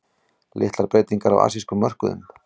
Litlar breytingar á asískum mörkuðum